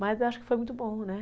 Mas eu acho que foi muito bom, né?